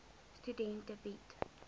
studente bied